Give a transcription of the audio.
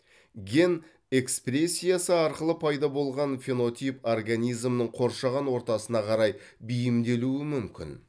ген экспрессиясы арқылы пайда болған фенотип организмнің қоршаған ортасына қарай бейімделуі мүмкін